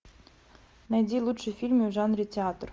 найди лучшие фильмы в жанре театр